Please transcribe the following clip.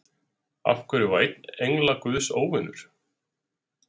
Af hverju var einn engla guðs óvinur?